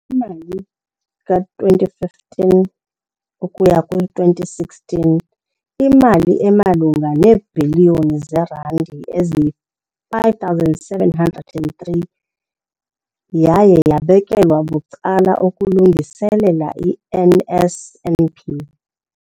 mali ka-2015 ukuya kwi-2016, imali emalunga neebhiliyoni zeerandi eziyi-5 703 yaye yabekelwa bucala ukulungiselela i-NSNP.